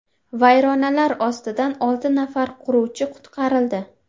Vayronalar ostidan olti nafar quruvchi qutqarildi.